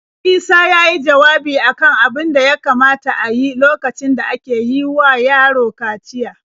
Isa ya yi jawabi a kan abin da ya kamata a yi lokacin da ake yi wa yaro kaciya.